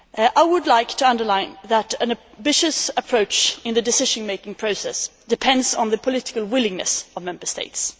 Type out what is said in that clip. I would like to underline that an ambitious approach in the decision making process depends on the political willingness of Member States.